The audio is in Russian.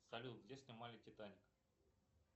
салют где снимали титаник